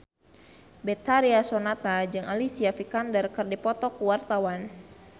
Betharia Sonata jeung Alicia Vikander keur dipoto ku wartawan